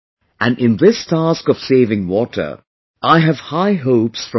And in this task of saving water, I have high hopes from children